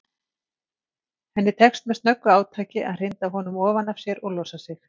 Henni tekst með snöggu átaki að hrinda honum ofan af sér og losa sig.